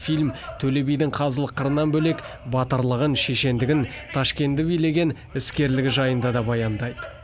фильм төле бидің қазылық қырынан бөлек батырлығын шешендігін ташкентті билеген іскерлігі жайында да баяндайды